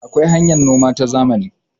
akwai hanyar noma ta zamani